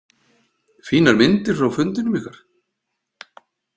Fínar myndir frá fundinum ykkar.